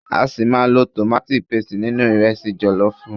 A ṣi máa lo tomati paste nínú ìrẹsi jọ̀lọ́fùú.